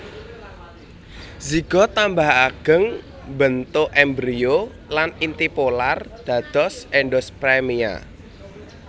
Zigot tambah ageng mbentuk embrio lan inti polar dados endospermia